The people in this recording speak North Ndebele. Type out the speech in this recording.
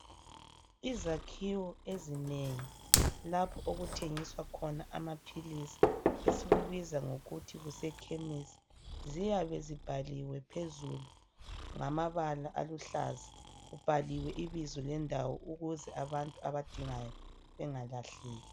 Izakhiwo ezinengi lapho okuthengiswa khona amaphilisi esikubiza ngokuthi kusekhemisi, ziyabe zibhaliwe phezulu ngamabala aluhlaza, kubhaliwe ibizo lendawo ukuze abantu abadingayo bengalahleki.